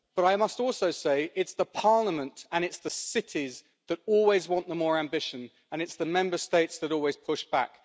But I must also say it is Parliament and it is the cities that always want the more ambition and it is the Member States that always push back.